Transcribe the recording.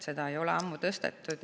Seda ei ole ammu tõstetud.